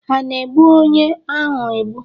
Ha ana-egbu onye ahu egbu?